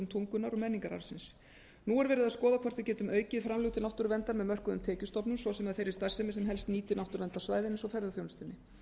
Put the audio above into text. tungunnar og menningararfsins nú er verið að skoða hvort við getum aukið framlög til náttúruverndar með mörkuðum tekjustofnum svo sem af þeirri starfsemi sem helst nýtir náttúruverndarsvæðin eins og ferðaþjónustu